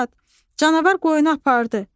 Canavar qoyunu apardı.